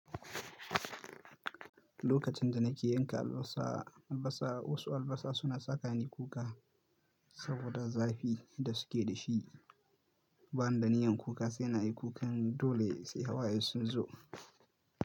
Lokacin da nake yanka albasa, albasa wasu albasa suna saka ni kuka saboda zafi da suke da shi. Bani da niyyan kuka sai na yi kukan dole sai hawaye sun zo.